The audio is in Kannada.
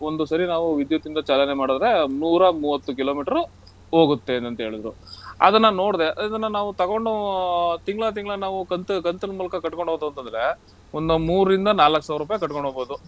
ಒಂದು ಸರಿ ನಾವು ವಿದ್ಯುತ್ತಿಂದ ಚಾಲನೆ ಮಾಡಿದ್ರೆ ನೂರಾ ಮೂವತ್ತು kilometer ಹೋಗುತ್ತೆ ಅಂತೇಳುದ್ರು. ಅದನ್ನ ನೋಡ್ದೆ ಅದನ್ನ ನಾವ್ ತಗೊಂಡು ತಿಂಗ್ಳ ತಿಂಗ್ಳ ನಾವ್ ಕಂತ್ ಕಂತ್ನ್ ಮೂಲ್ಕ ಕಟ್ಕೊಂಡ್ ಹೋತು ಅಂತಂದ್ರೆ ಒಂದ ಮೂರಿಂದ ನಾಲಕ್ ಸಾವ್ರುಪೈ ಕಟ್ಕೊಂಡ್ ಹೋಗ್ಬೋದು.